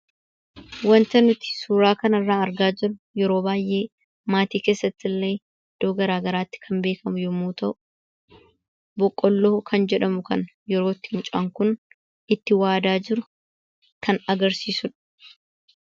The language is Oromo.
Wanta nuti suuraa kanarraa argaa jirru yeroo baay'ee maatii keessatti illee iddoo garaagaraatti beekamu yemmuu ta'u, boqqoolloo kan jedhamu kana yeroo mucaan kun itti waadaa jiru kan agarsiisudha.